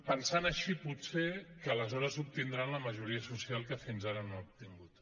pensant així potser que aleshores obtindran la majoria social que fins ara no han obtingut